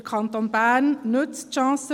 Der Kanton Bern nutzt […